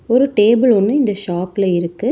ஒரு டேபிள் ஒன்னு இந்த ஷாப்ல இருக்கு.